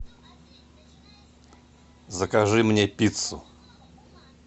закажи мне пиццу